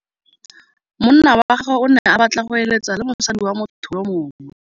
Monna wa gagwe o ne a batla go êlêtsa le mosadi wa motho yo mongwe.